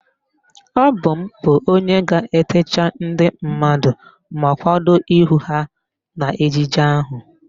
Ọ bụ m bụ onye ga-etecha ndị mmadụ ma kwado ihu ha n'ejije ahụ